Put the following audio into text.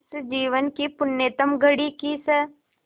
इस जीवन की पुण्यतम घड़ी की स्